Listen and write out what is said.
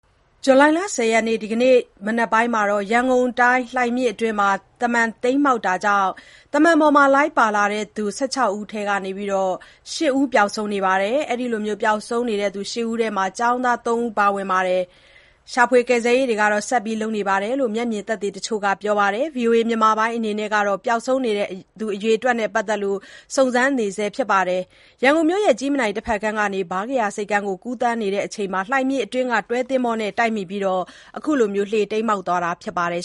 ဇူလိုင်လ ၁၀ ရက် ဒီကနေ့ မနက်ပိုင်းက ရန်ကုန်တိုင်း လှိုင်မြစ်အတွင်း သဗ္ဗန်တိမ်းမှောက်တာကြောင့် သဗ္ဗာန်ပေါ်လိုက်ပါလာသူ ၁၆ ဦး အနက် ၈ ဦးပျောက်ဆုံးနေပါတယ်။ ပျောက်ဆုံးနေတဲ့ ၈ ဦးထဲမှာ ကျောင်းသား ၃ ဦးလည်းပါဝင်ပြီး ရှာဖွေကယ်ဆယ်ရေးတွေ ဆက်လုပ်နေတယ်လို့ မျက်မြင်သက်သေတချို့က ပြောပါတယ်။ ဗွီအိုအေအနေနဲ့ ပျောက်ဆုံးနေသူ အရေအတွက်နဲ့ပတ်သက်လို့ စုံစမ်းနေဆဲဖြစ်ပါတယ်။ တိမ်းမှောက်တဲ့ သဗ္ဗန်ဟာ ရန်ကုန်မြို့ ကြည့်မြင်တိုင် တဖက်ကမ်းကနေ ဗားကရာဆိပ်ကမ်းကိုကူးသန်းချိန် လှိုင်မြစ်အတွင်းက တွဲသင်္ဘောနဲ့တိုက်မိပြီး တိမ်းမှောက်သွားတာလည်းဖြစ်ပါတယ်